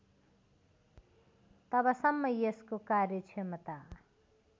तबसम्म यसको कार्यक्षमता